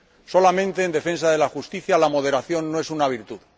solamente en defensa de la justicia, la moderación no es una virtud.